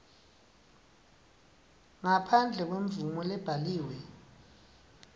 ngaphandle kwemvumo lebhaliwe